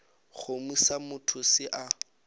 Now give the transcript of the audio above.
kgomo sa motho se a